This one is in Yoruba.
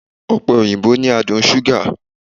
Ọ̀pẹ-òyìnbó ni adùn ṣúgà